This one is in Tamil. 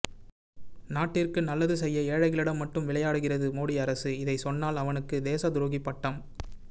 நாட்டிற்கு நல்லது செய்ய ஏழைகளிடம் மட்டும் விளையாடுகிறது மோடி அரசு இதை சொன்னால் அவனுக்கு தேச துரோகிபட்டம்